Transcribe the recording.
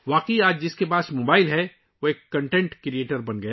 درحقیقت، آج جس کے پاس موبائل ہے ، وہ مواد تخلیق کرنے والا بن گیا ہے